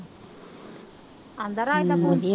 ਆਂਦਾ ਰਾਜ ਦਾ ਫੋਨ,